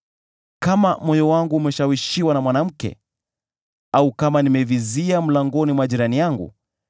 “Kama moyo wangu umeshawishiwa na mwanamke, au kama nimevizia mlangoni mwa jirani yangu,